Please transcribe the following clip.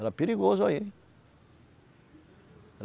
Era perigoso aí.